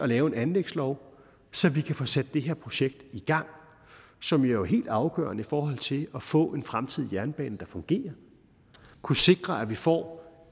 laver en anlægslov så vi kan få sat det her projekt i gang som jo er helt afgørende i forhold til at få en fremtidig jernbane der fungerer at kunne sikre at vi får